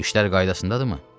İşlər qaydasındadır?